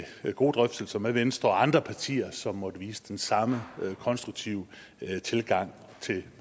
gode drøftelser med venstre og andre partier som måtte vise den samme konstruktive tilgang til